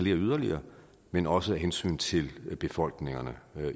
yderligere men også af hensyn til befolkningerne